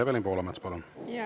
Evelin Poolamets, palun!